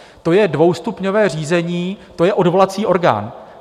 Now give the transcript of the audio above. To je dvoustupňové řízení, to je odvolací orgán.